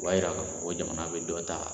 O b'a yira k'a fɔ ko jamana bɛ dɔ ta.